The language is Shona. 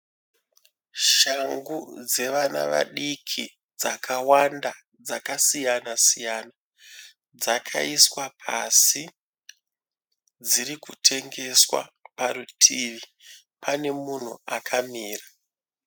Shangu dzevana vadiki dzakawanda dzakasiyana siyana. Dzakaiswa pasi . Dziri kutengeswa parutivi pane munhu akamira.